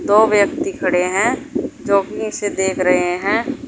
दो व्यक्ति खड़े हैं जो अपने से देख रहे हैं।